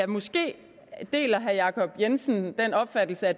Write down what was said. måske deler herre jacob jensen den opfattelse at